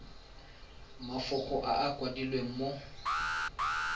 mafoko a a kwadilweng mo